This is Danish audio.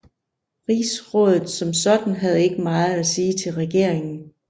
Rigsrådet som sådan havde ikke meget at sige til regeringen